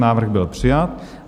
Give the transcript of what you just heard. Návrh byl přijat.